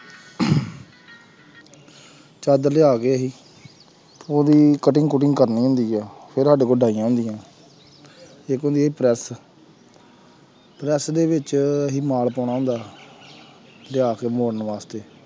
ਚਾਦਰ ਲਿਆ ਕੇ ਅਸੀਂ ਉਹਦੀ cutting ਕੁਟਿੰਗ ਕਰਨੀ ਹੁੰਦੀ ਹੈ ਪਰੈਸ ਪਰੈਸ ਦੇ ਵਿੱਚ ਅਸੀਂ ਮਾਲ ਪਾਉਣਾ ਹੁੰਦਾ ਜਾਂ ਫਿਰ ਮੋੜਨ ਵਾਸਤੇ